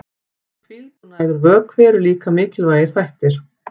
Hvíld og nægur vökvi eru líka mikilvægir þættir.